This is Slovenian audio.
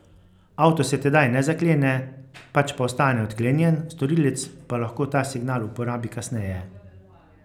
Avto se tedaj ne zaklene, pač pa ostane odklenjen, storilec pa lahko ta signal uporabi kasneje.